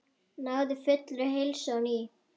Náði fullri heilsu á ný.